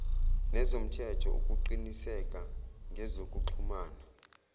nezomthetho ukuqiniseka ngezokuxhumana